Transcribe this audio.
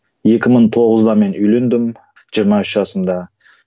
екі мың тоғызда мен үйлендім жиырма үш жасымда